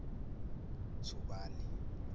thubani